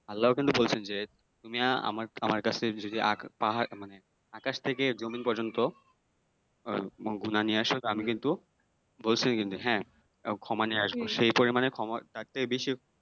আল্লাহও কিন্তু বলছেন যে তুমি আমার আমার কাছে যদি পাহাড় মানে আকাশ থেকে জমিন পর্যন্ত আহ গুনাহ নিয়ে আসো আমিও কিন্তু বলছেন কিন্তু হ্যাঁ ক্ষমাও নিয়ে আসবো সেই পরিমানে ক্ষমা তার থেকে বেশিও